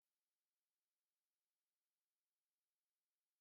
Nne m nọ mba Amerịka dịka anyị na-ekwu ugbua